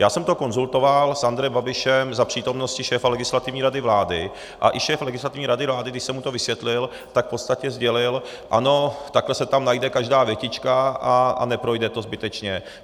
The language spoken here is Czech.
Já jsem to konzultoval s Andrejem Babišem za přítomnosti šéfa Legislativní rady vlády a i šéf Legislativní rady vlády, když jsem mu to vysvětlil, tak v podstatě sdělil ano, takhle se tam najde každá větička a neprojde to zbytečně.